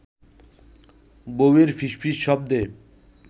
বউয়ের ফিসফিস শব্দে